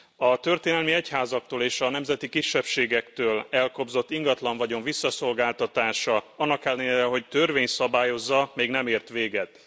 A történelmi egyházaktól és a nemzeti kisebbségektől elkobzott ingatlanvagyon visszaszolgáltatása annak ellenére, hogy törvény szabályozza még nem ért véget.